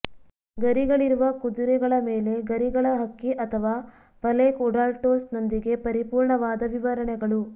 ಗರಿಗಳಿರುವ ಕುದುರೆಗಳ ಮೇಲೆ ಗರಿಗಳ ಹಕ್ಕಿ ಅಥವಾ ಪಲೇಖ್ ಉಡಾಲ್ಟ್ಸ್ನೊಂದಿಗೆ ಪರಿಪೂರ್ಣವಾದ ವಿವರಣೆಗಳು